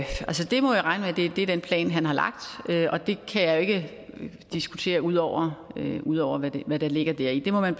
det er den plan han har lagt og det kan jeg jo ikke diskutere ud over ud over hvad der ligger deri man